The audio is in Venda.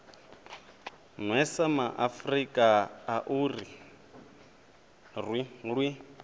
nwesa maafrika a ri lwi